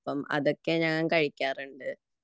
അതൊക്കെ ഞാൻ കഴിക്കാറുണ്ട്